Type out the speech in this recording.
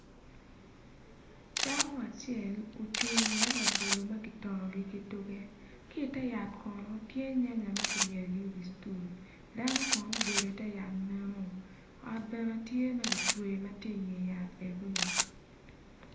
Dako acel ocung inget labolo magitongogi ki tuge ki ter yat kono tye nyanya makiryeyogi i wi stool dano kono obedo i ter yat mono ot bene tye magicweyo matye inge yat egoni.